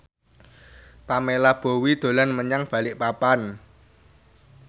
Pamela Bowie dolan menyang Balikpapan